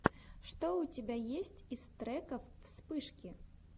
что у тебя есть из треков вспышки